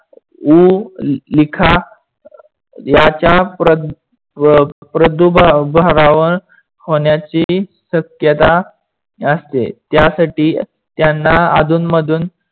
होण्याची शक्यता असते. त्यासाठी त्यांना अधूनमधून